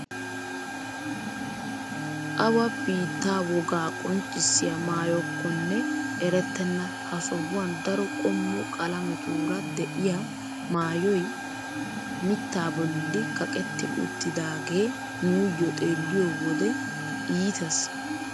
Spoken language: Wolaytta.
Awa biittaa wogaa qonccisiyaa maayokkonne erettena ha sohuwaan daro qommo qalametuura de'iyaa maayoy mittaa bolli kaqetti uttidaagee nuuyo xeelliyoo wode iitees!